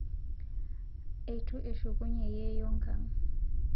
Eitu eshukunye yeiyo nkang